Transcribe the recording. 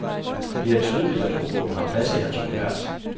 Det er tydeligt, at humoren har plads i hans univers.